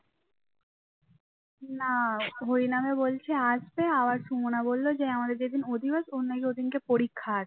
না হরি নামে বলছে আসবে আবার সুমনা বলল যে আমাদের যেদিন অধিবাস ওর নাকি ওদিন পরীক্ষা আছে